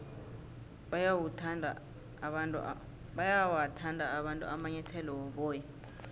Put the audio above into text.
bayawathanda abantu amanyathele woboya